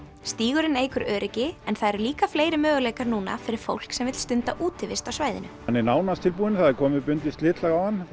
stígurinn eykur öryggi en það eru líka fleiri möguleikar núna fyrir fólk sem vill stunda útivist á svæðinu hann er nánast tilbúinn það er komið bundið slitlag á hann